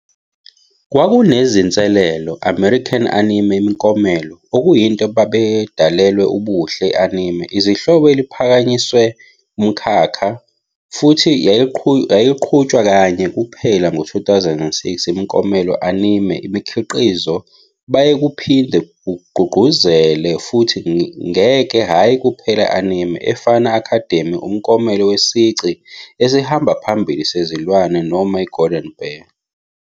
Kwakunanezinselele American Anime Imiklomelo, okuyinto babedalelwe ubuhle e anime izihloko eliphakanyiswe umkhakha, futhi yayiqhutshwa kanye kuphela ngo-2006 imiklomelo Anime imikhiqizo baye kuphinde kugqugquzele futhi ngek hhayi kuphela anime, efana Academy Umklomelo Wesici Esihamba Phambili Sezilwane noma iGolden Bear.